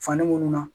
Fani minnu na